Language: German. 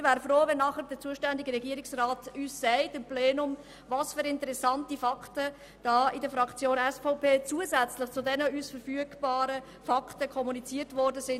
Ich wäre froh, wenn der zuständige Regierungsrat uns nachher sagen könnte, welche interessanten Fakten der Fraktion SVP zusätzlich zu den uns verfügbaren kommuniziert worden sind.